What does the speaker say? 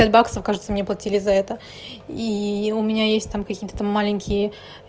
пять баксов кажется мне платили за это и у меня есть там какие-то маленькие